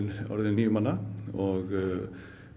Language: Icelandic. orðinn níu manna og